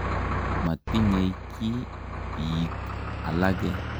Matinyei ki piik alake.